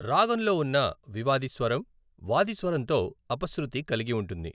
రాగంలో ఉన్న వివాది స్వరం, వాది స్వరంతో అపశృతి కలిగి ఉంటుంది.